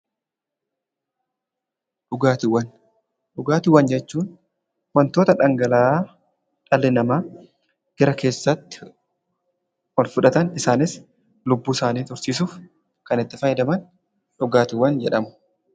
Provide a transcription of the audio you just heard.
Dhugaatiiwwan. Dhugaatiiwwan jechuun wantoota dhangala'aa dhalli namaa gara keessaatti olfudhatan isaanis lubbuusaanii tursiisuuf kan itti fayyadaman dhugaatiiwwan jedhamu.